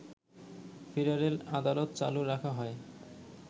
federal আদালত চালু রাখা হয়